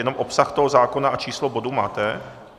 Jenom obsah toho zákona a číslo bodu máte?